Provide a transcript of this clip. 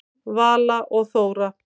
Vala og Þóra.